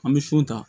An bɛ sun ta